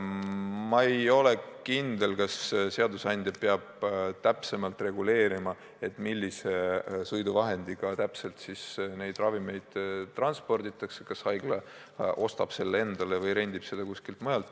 Ma ei ole kindel, kas seadusandja peab täpselt reguleerima, millise sõiduvahendiga täpselt ravimeid transporditakse, kas haigla ostab sõiduvahendi endale või rendib selle kuskilt.